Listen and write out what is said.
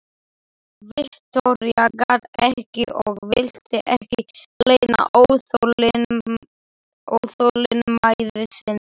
Viktoría gat ekki og vildi ekki leyna óþolinmæði sinni.